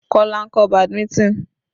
Kola ń kọ́ badminton.